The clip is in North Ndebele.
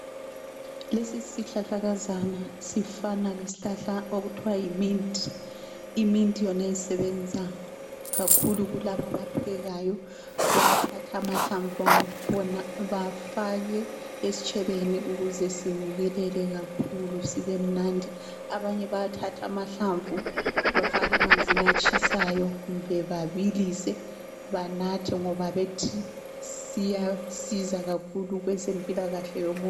Lesi sihlahlakazana sifana lesihlahla okuthiwa yi mint. I mint yona isebenza kakhulu kulabo abaphekayo. Bayathatha amahlamvu akhona bafake estshebeni ukuze sinukele kakhulu sibe mnandi. Abanye bayathatha amahlamvu bafake emanzini atshisayo kumbe babilise banathe. Ngoba bethi siyasiza kakhulu kwezempilakahle yomuntu.